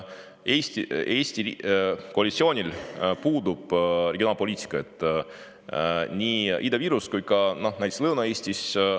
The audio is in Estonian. Eesti koalitsioonil puudub regionaalpoliitika nii Ida-Virus kui ka näiteks Lõuna-Eestis.